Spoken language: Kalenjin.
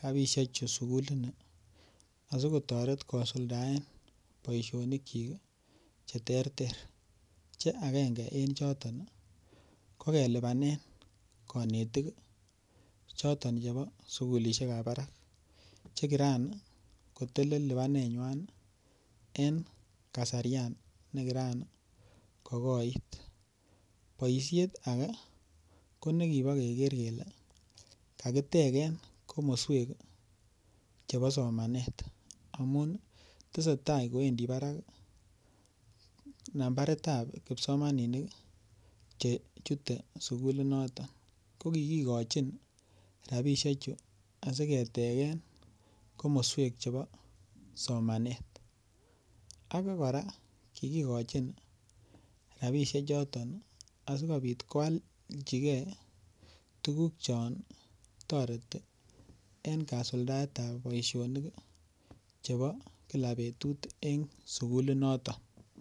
rabiisiechu sukulini asikotoret kosuldaen boisionikchik ii che teter che akengen en choton ii ko kelipanen kanetik ii choton chebo sukulisiekab barak che kiran kotelel lipanenywan en kasarian ne kiran kokoit, boisiet ake ko nekibo keker kele kakiteken komoswek ii chebo somanet amun ii, tesetai kowendi barak nambaritab kipsomaninik ii che chute sukulinoton, ko kikikochin rabiisiechu asi keteken komoswek chebo somanet, ake kora kikikochin rabiisiechoton asikobit koalchikei tukuk chon toreti en kasuldaetab boisionik ii chebo kila betut ii en sukulinoton.